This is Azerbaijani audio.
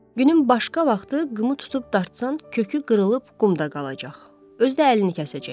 Günün başqa vaxtı qımı tutub dartsan, kökü qırılıb qumda qalacaq, özü də əlini kəsəcək.